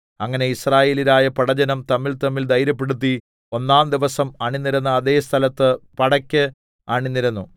അങ്ങനെ യിസ്രായേല്യരായ പടജ്ജനം തമ്മിൽതമ്മിൽ ധൈര്യപ്പെടുത്തി ഒന്നാം ദിവസം അണിനിരന്ന അതേ സ്ഥലത്ത് പടക്ക് അണിനിരന്നു